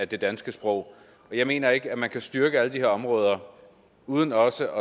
det danske sprog jeg mener ikke man kan styrke alle de her områder uden også